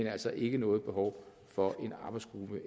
altså ikke noget behov for en arbejdsgruppe